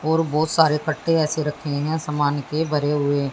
और बहुत सारे कट्टे ऐसे रखे हैं सामान के भरे हुए।